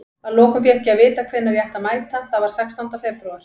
Að lokum fékk ég að vita hvenær ég ætti að mæta, það var sextánda febrúar.